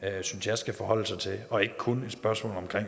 synes jeg skal forholde sig til og ikke kun et spørgsmål om